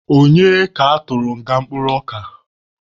Onye bụ ka atụrụ nga kpụrụ ọka?